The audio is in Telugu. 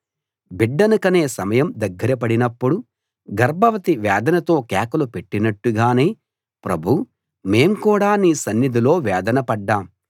బిడ్డని కనే సమయం దగ్గర పడినప్పుడు గర్భవతి వేదనతో కేకలు పెట్టినట్టుగానే ప్రభూ మేం కూడా నీ సన్నిధిలో వేదన పడ్డాం